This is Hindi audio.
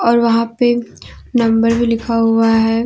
और वहां पे नंबर भी लिखा हुआ है।